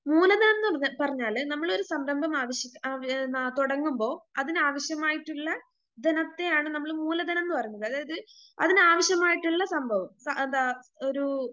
മൂലധനംന്ന്റ പറഞ്ഞാല് നമ്മൊളൊരു സംരംഭം ആവശ്യ ആവ് ന തുടങ്ങുമ്പോ അതിനാവശ്യമായിട്ടിള്ള ധനത്തെയാണ് നമ്മള് മൂലധനംന്ന് പറയുന്നത് അതായത് അതിനാവശ്യമായിട്ടിള്ള സംഭവം അതാ ഒരു